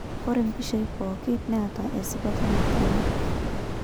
Ore mpishai pokin netaa esipata natumie.